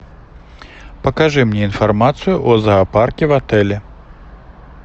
покажи мне информацию о зоопарке в отеле